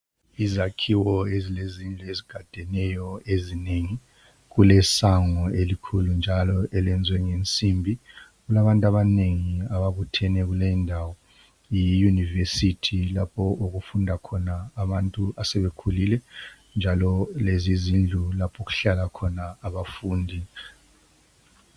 Izakhiwo ezilezindlu ezigadeneyo ezinengi kulesango elikhulu njalo elezwe ngensimbi kulabantu abanengi ababuthene kuleyindawo. Yiyunivesithi lapho okufunda khona abantu abasebekhulile njalo lezizindlu lapho okuhlala khona abafundi